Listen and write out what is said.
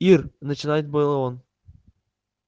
ир начинает было он